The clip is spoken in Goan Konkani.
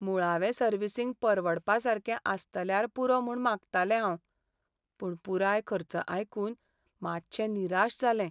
मुळावें सर्विसींग परवडपा सारकें आसतल्यार पुरो म्हूण मागतालें हांव, पूण पुराय खर्च आयकून मातशें निराश जालें .